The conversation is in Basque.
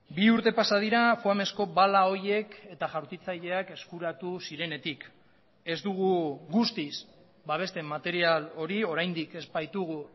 bi urte pasa dira foamezko bala horiek eta jaurtitzaileak eskuratu zirenetik ez dugu guztiz babesten material hori oraindik ez baitugu